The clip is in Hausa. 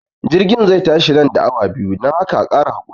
jirgin zai tashi nan da awa biyu, dan haka a Kara hakuri.